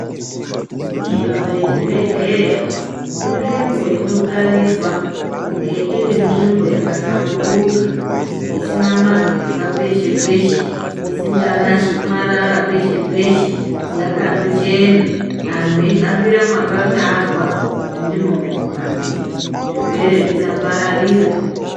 Nzvimbo yechibhedhera izvimbo inokarirwa kunge irinzvimbo yakahlamburuka isina mapepa peshe peshe, isingaraswi marara pese pese yakandochena antu eihambira mwakatarwa kuti ndimo mekuhambira zvirwere zvisapararira.